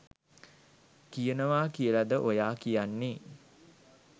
කියනවා කියලද ඔයා කියන්නේ?